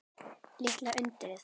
Litla undrið.